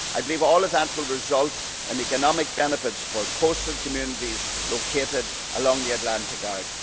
I believe all of that will result in economic benefits for coastal communities located along the Atlantic